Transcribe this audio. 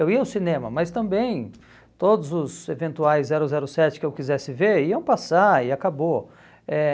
Eu ia ao cinema, mas também todos os eventuais zero zero sete que eu quisesse ver iam passar e acabou. Eh